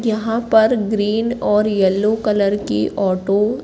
यहां पर ग्रीन और येलो कलर की ऑटो --